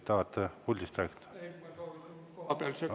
Või tahate puldist rääkida?